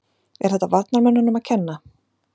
Er þetta varnarmönnunum að kenna?